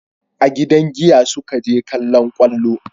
A gidan giya su ka je kallon kwallo